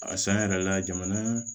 A san yɛrɛ la jamana